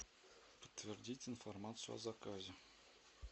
подтвердить информацию о заказе